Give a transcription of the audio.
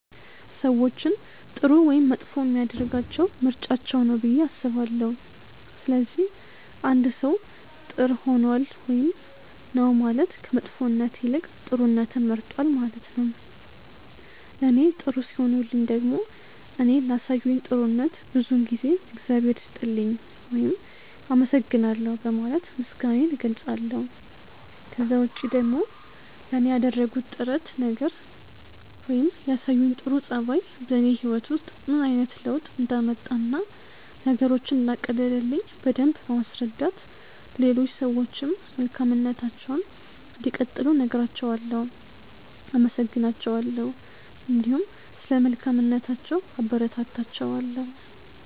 ሰዎችን ጥሩ ወይም መጥፎ የሚያደርጋቸው ምርጫቸው ነው ብዬ አስባለሁ። ስለዚህ አንድ ሰው ጥር ሆኗል ውይም ነው ማለት ከመጥፎነት ይልቅ ጥሩነትን መርጧል ነው ማለት ነው። ለኔ ጥሩ ሲሆኑልኝ ደግሞ እኔ ላሳዩኝ ጥሩነት ብዙውን ጊዜ እግዚአብሔር ይስጥልኝ ውይም አመሰግናለሁ በማለት ምስጋናዬን እገልጻለሁ። ከዛ ውጪ ደግሞ ለኔ ያደረጉት ጥረት ነገር ወይም ያሳዩኝ ጥሩ ጸባይ በኔ ህይወት ውስጥ ምን አይነት ለውጥ እንዳመጣ እና ነገሮችን እንዳቀለለልኝ በደምብ በማስረዳት ለሌሎች ሰዎችም መልካምነታቸውን እንዲቀጥሉ እነግራቸዋለው፣ አመሰግናቸዋለሁ እንዲሁም ስለ መልካምነታቸው አበረታታቸዋለሁ።